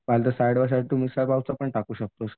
पाहिजे तर side by side तू मिसळ पावचं पण टाकू शकतोस.